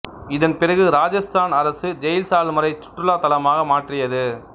இதன் பிறகு இராஜஸ்தான் அரசு ஜெய்சால்மரை சுற்றுலாத் தலமாக மாற்றியது